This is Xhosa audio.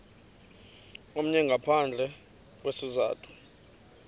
omnye ngaphandle kwesizathu